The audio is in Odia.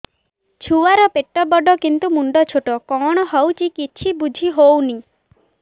ଛୁଆର ପେଟବଡ଼ କିନ୍ତୁ ମୁଣ୍ଡ ଛୋଟ କଣ ହଉଚି କିଛି ଵୁଝିହୋଉନି